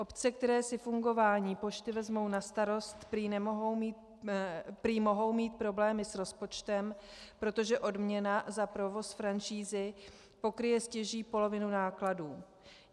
Obce, které si fungování pošty vezmou na starost, prý mohou mít problémy s rozpočtem, protože odměna za provoz franšízy pokryje stěží polovinu nákladů.